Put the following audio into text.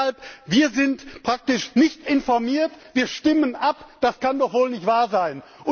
Deshalb Wir sind praktisch nicht informiert, wir stimmen ab das kann doch wohl nicht wahr sein!